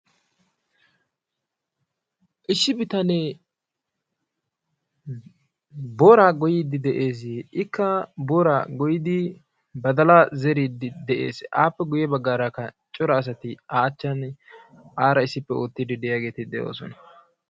Issi bitanee booraa goyyide de'ees. ikka booraa goyyidi badala zeeride de'ees. appe guyye baggaraakka cora asati a achchan ci aara issipe oottide de'iyaageeti de'oosona.